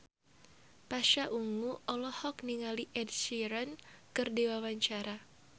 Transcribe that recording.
Pasha Ungu olohok ningali Ed Sheeran keur diwawancara